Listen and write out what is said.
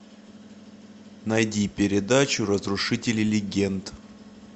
найди передачу разрушители легенд